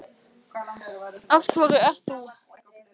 Af hverju ert þú?